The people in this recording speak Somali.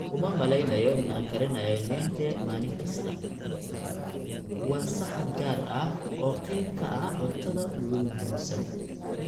Uma maleynayo in aan karinayo nyenje maalin kasta, waa saxan gaar ah oo qayb ka ah cuntada ugu muhiimsan